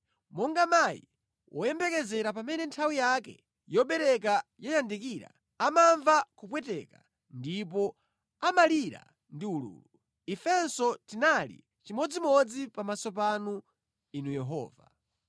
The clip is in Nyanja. Monga mayi woyembekezera pamene nthawi yake yobereka yayandikira amamva kupweteka ndipo amalira ndi ululu, ifenso tinali chimodzimodzi pamaso panu, Inu Yehova.